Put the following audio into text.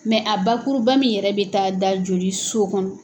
a bakuruba min yɛrɛ bɛ taa da joli so kɔnɔ.